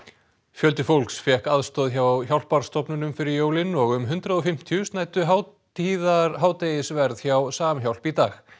fjöldi fólks fékk aðstoð hjá hjálparstofnunum fyrir jólin og um hundrað og fimmtíu snæddu hátíðarhádegisverð hjá Samhjálp í dag